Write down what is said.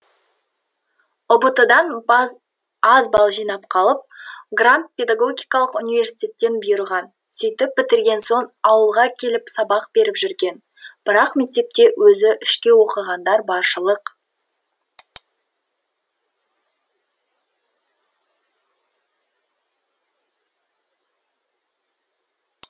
ұбт дан аз балл жинап қалып грант педагогикалық университеттен бұйырған сөйтіп бітірген соң ауылға келіп сабақ беріп жүрген бірақ мектепте өзі үшке оқығандар баршылық